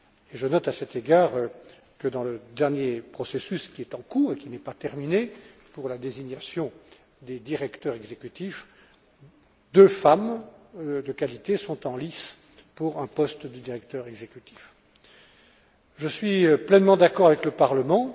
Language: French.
Je note à cet égard, dans le dernier processus qui est en cours et qui n'est pas terminé pour la désignation des directeurs exécutifs, que deux femmes de qualité sont en lice pour un poste de directeur exécutif. Je suis pleinement d'accord avec le Parlement